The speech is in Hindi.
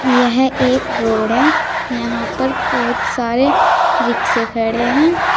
यह एक रोड है यहां पर बहुत सारे रिक्शे खड़े हैं।